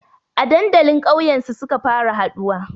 A dandalin kauyen su suka fara haɗuwa